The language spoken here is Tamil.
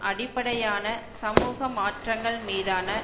அடிப்படையான சமூக மாற்றங்கள் மீதான